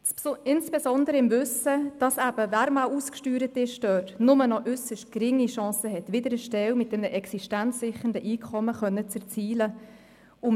Dies insbesondere im Wissen darum, dass eben, wer einmal ausgesteuert ist, nur noch äusserst geringe Chancen auf eine Stelle hat, mit der ein existenzsicherndes Einkommen erzielt werden kann.